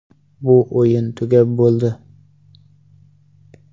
Bu o‘yin tugab bo‘ldi.